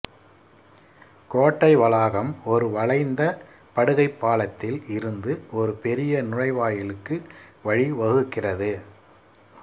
கோட்டை வளாகம் ஒரு வளைந்த படுகைப் பாலத்தில் இருந்து ஒரு பெரிய நுழைவாயிலுக்கு வழிவகுக்கிறது